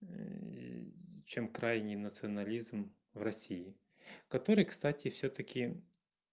чем крайний национализм в россии который кстати всё-таки